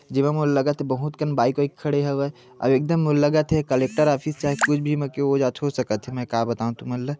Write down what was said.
जेमा मोला लगथ की बहुत कन बाइक खड़े हेवय अऊ एकदम मोला लगा थे कलेक्टर ऑफिस कस चाहे कुछ मे जो का हो सकथ मै का तुमन ल--